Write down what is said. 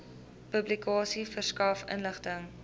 publikasie verskaf inligting